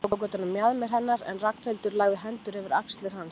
Eiríkur tók utan um mjaðmir hennar en Ragnhildur lagði hendurnar yfir axlir hans.